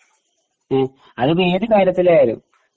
ങ് അതിപ്പോ ഏതു കാര്യത്തിലായാലും